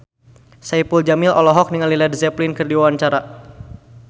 Saipul Jamil olohok ningali Led Zeppelin keur diwawancara